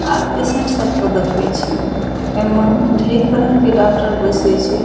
आर पसंद सब के देखे छिये एमए ढेर तरह के डाक्टर बैसे छे।